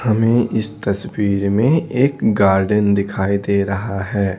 हमें इस तस्वीर में एक गार्डन दिखाई दे रहा है।